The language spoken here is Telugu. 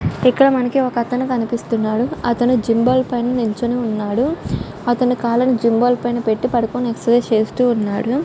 ఇక్కడ మనకి ఒక అతను కనిపిస్తున్నాడు.అతను జిమ్బల్ పైన నిల్చొని ఉన్నాడు. అతని కాళ్ళని జిమ్బల్ పైన పెట్టి పడుకొని ఎక్సర్సిస్ చేస్తూ ఉన్నాడు. .